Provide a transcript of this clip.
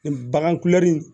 Bagan kulɛri